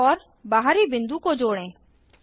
केंद्र और बाहरी बिंदु को जोडें